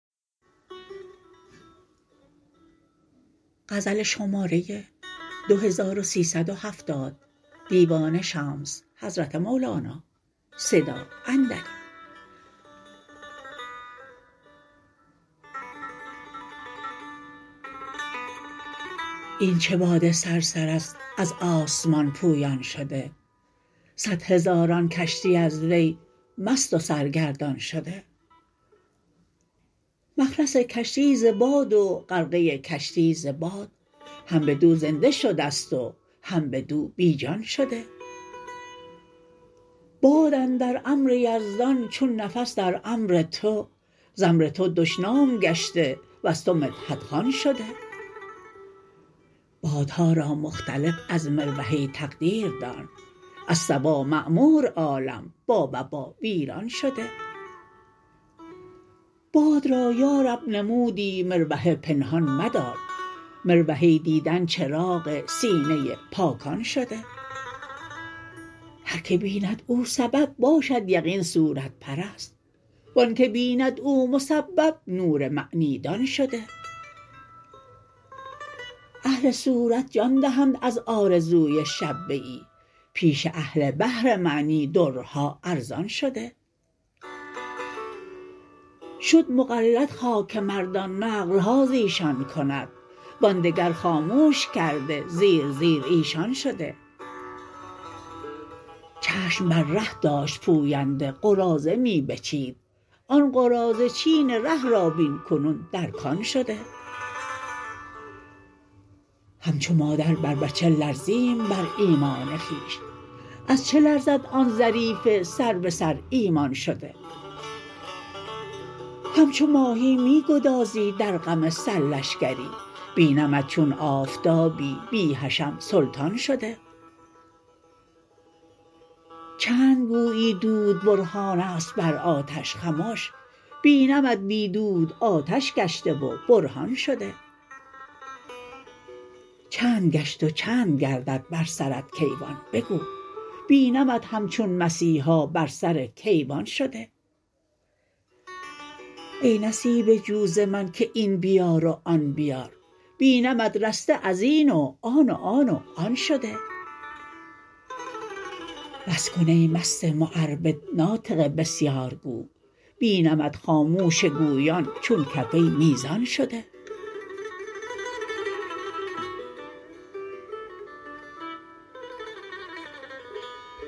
این چه باد صرصر است از آسمان پویان شده صد هزاران کشتی از وی مست و سرگردان شده مخلص کشتی ز باد و غرقه کشتی ز باد هم بدو زنده شده ست و هم بدو بی جان شده باد اندر امر یزدان چون نفس در امر تو ز امر تو دشنام گشته وز تو مدحت خوان شده بادها را مختلف از مروحه تقدیر دان از صبا معمور عالم با وبا ویران شده باد را یا رب نمودی مروحه پنهان مدار مروحه دیدن چراغ سینه پاکان شده هر که بیند او سبب باشد یقین صورت پرست و آنک بیند او مسبب نور معنی دان شده اهل صورت جان دهند از آرزوی شبه ای پیش اهل بحر معنی درها ارزان شده شد مقلد خاک مردان نقل ها ز ایشان کند و آن دگر خاموش کرده زیر زیر ایشان شده چشم بر ره داشت پوینده قراضه می بچید آن قراضه چین ره را بین کنون در کان شده همچو مادر بر بچه لرزیم بر ایمان خویش از چه لرزد آن ظریف سر به سر ایمان شده همچو ماهی می گدازی در غم سرلشکری بینمت چون آفتابی بی حشم سلطان شده چند گویی دود برهان است بر آتش خمش بینمت بی دود آتش گشته و برهان شده چند گشت و چند گردد بر سرت کیوان بگو بینمت همچون مسیحا بر سر کیوان شده ای نصیبه جو ز من که این بیار و آن بیار بینمت رسته از این و آن و آن و آن شده بس کن ای مست معربد ناطق بسیارگو بینمت خاموش گویان چون کفه میزان شده